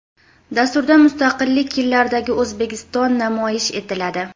Dasturda Mustaqillik yillaridagi O‘zbekiston namoyish etiladi.